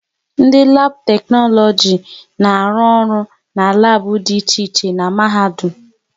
Ndị labu teknologisi na-arụ ọrụ n'labu dị iche iche n'mahadum